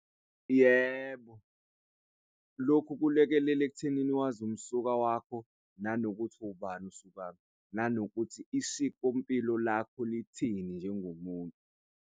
Yebo, lokhu kulekelela ekuthenini wazi umsuka wakho nanokuthi ubani usukaphi nanokuthi isikompilo lakho lithini njengomuntu.